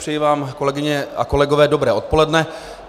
Přeji vám, kolegyně a kolegové, dobré odpoledne.